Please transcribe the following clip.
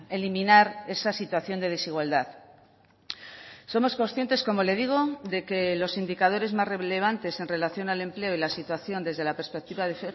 eliminar esa situación de desigualdad somos conscientes como le digo de que los indicadores más relevantes en relación al empleo y la situación desde la perspectiva de